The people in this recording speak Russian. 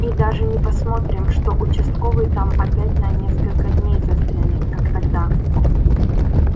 и даже не посмотрим что участковый там опять на несколько дней застрянет как тогда